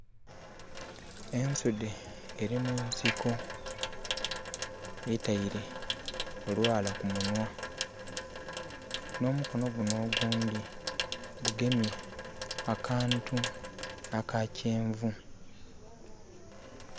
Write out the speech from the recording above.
Ensudhe eri munsiko etaire olwala kumunhwa nomukono gunho ogundhi gugemye akantu aka kyenvu.